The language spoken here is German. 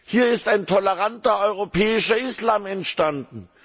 Hier ist ein toleranter europäischer Islam entstanden.